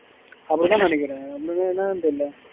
அப்படித்தான் நேனைக்குறேன் என்னான்னு தெரில